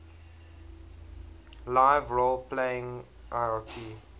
live role playing lrp